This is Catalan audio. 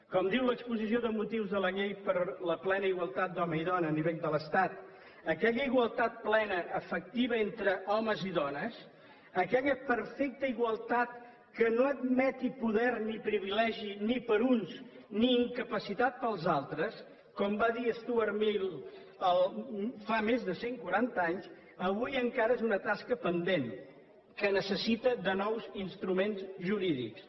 com diu l’exposició de motius de la llei per a la plena igualtat d’home i dona a nivell de l’estat aquella igualtat plena efectiva entre homes i dones aquella perfecta igualtat que no admeti poder ni privilegi ni per a uns ni incapacitat per als altres com va dir stuart mill fa més de cent quaranta anys avui encara és una tasca pendent que necessita de nous instruments jurídics